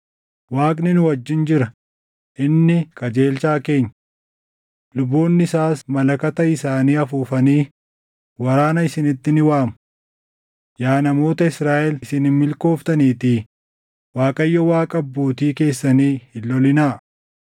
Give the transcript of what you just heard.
Waaqni nu wajjin jira; inni qajeelchaa keenya. Luboonni isaas malakata isaanii afuufanii waraana isinitti ni waamu. Yaa namoota Israaʼel isin hin milkooftaniitii, Waaqayyo Waaqa abbootii keessanii hin lolinaa.”